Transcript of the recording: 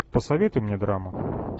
посоветуй мне драму